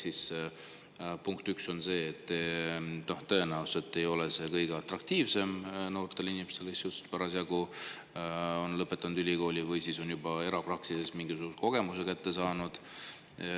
Nii et punkt üks on see, et tõenäoliselt ei ole see kõige atraktiivsem noorte inimeste silmis, kes on just lõpetanud ülikooli või on juba erapraksises mingisuguse kogemuse saanud.